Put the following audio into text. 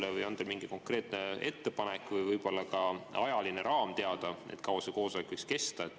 Ja kas teil on mingi konkreetne ettepanek või ka ajaline raam teada, kui kaua see koosolek võiks kesta?